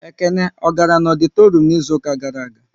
Ekene ọ gara na ọditorum n'izuka gara aga?